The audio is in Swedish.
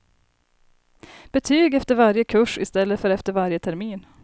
Betyg efter varje kurs i stället för efter varje termin.